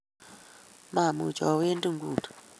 mamuchi awendi nguni